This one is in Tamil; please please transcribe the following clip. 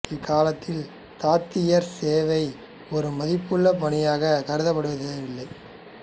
அக் காலத்தில் தாதியர் சேவை ஒரு மதிப்புள்ள பணியாகக் கருதப்படவில்லை